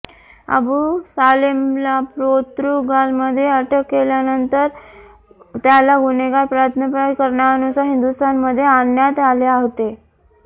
अबू सालेमला पोर्तुगालमध्ये अटक केल्यानंतर त्याला गुन्हेगार प्रत्यार्पण करारानुसार हिंदुस्थानमध्ये आणण्यात आले होते